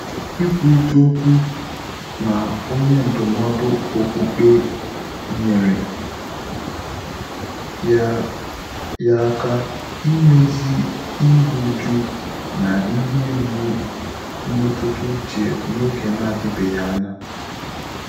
Ị́kwúrị́tà ókwú nà ọ́nyé ndụ́mọ́dụ́ ókpùkpé nyèrè yá yá áká ímézì írú újú nà ìhè mgbú mmétụ́tà úchè n’ógè nà-ádị́bèghị́ ányá.